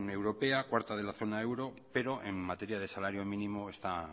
europea cuarta de la zona euro pero en materia de salario mínimo está